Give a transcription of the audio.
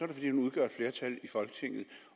det fordi man udgør et flertal i folketinget